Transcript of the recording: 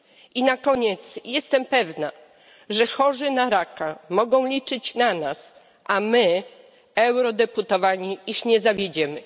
I na koniec, jestem pewna, że chorzy na raka mogą liczyć na nas, a my, eurodeputowani, ich nie zawiedziemy.